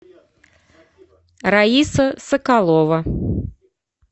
раиса соколова